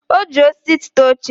o ji osisi tụta oche.